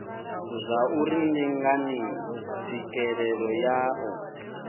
zwauri ndi ngani tswikelelo ya